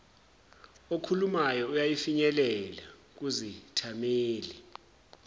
okhulumayo uyafinyelela kuzithameli